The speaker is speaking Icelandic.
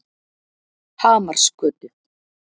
Hamarsgötu